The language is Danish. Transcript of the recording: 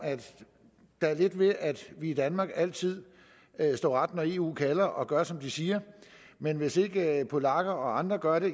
der er lidt med at vi i danmark altid står ret når eu kalder og gør som de siger men hvis ikke polakker og andre gør det